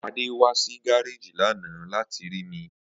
Ade wa si gareji lana lati ri mi.